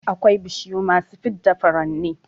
Akwai bishiyu masu fidda furanni